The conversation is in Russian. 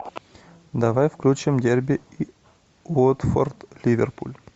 давай включим дерби уотфорд ливерпуль